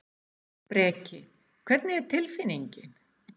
Breki: Hvernig er tilfinningin?